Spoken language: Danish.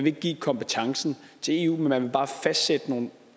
ikke give kompetencen til eu men man vil bare fastsætte nogle